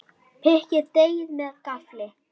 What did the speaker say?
Pikkið deigið með gaffli.